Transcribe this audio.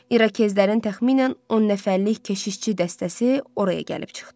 İrokezlərin təxminən 10 nəfərlik keşişçi dəstəsi oraya gəlib çıxdı.